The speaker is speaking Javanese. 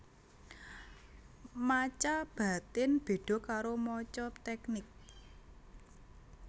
Maca batin beda karo maca teknik